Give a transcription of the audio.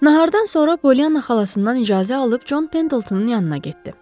Nahardan sonra Pollyanna xalasından icazə alıb Jon Pendletonun yanına getdi.